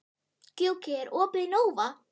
Gjúki, er opið í Nova?